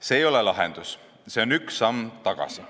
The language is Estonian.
See ei ole lahendus, see on üks samm tagasi.